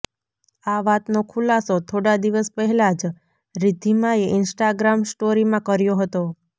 આ વાતનો ખુલાસો થોડા દિવસ પહેલા જ રિદ્ધિમાએ ઈન્સ્ટાગ્રામ સ્ટોરીમાં કર્યો હતો